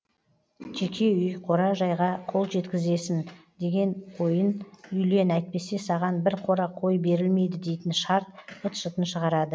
жеке үй қора жайға қол жеткізесін деген ойын үйлен әйтпесе саған бір қора қой берілмейді дейтін шарт быт шытын шығарады